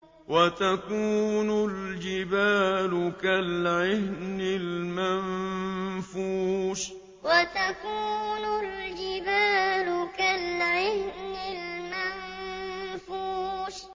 وَتَكُونُ الْجِبَالُ كَالْعِهْنِ الْمَنفُوشِ وَتَكُونُ الْجِبَالُ كَالْعِهْنِ الْمَنفُوشِ